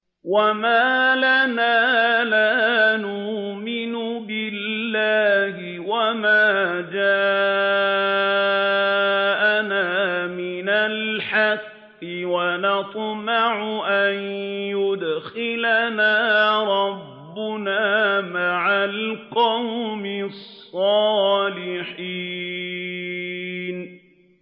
وَمَا لَنَا لَا نُؤْمِنُ بِاللَّهِ وَمَا جَاءَنَا مِنَ الْحَقِّ وَنَطْمَعُ أَن يُدْخِلَنَا رَبُّنَا مَعَ الْقَوْمِ الصَّالِحِينَ